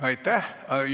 Aitäh!